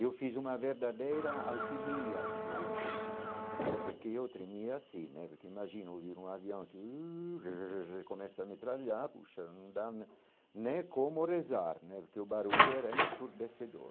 Eu fiz uma verdadeira alquimia comigo mesmo, porque eu tremia assim né, porque imagina ouvir um avião que uh que começa a metralhar, puxa, não dá né nem como rezar né, porque o barulho era ensurdecedor.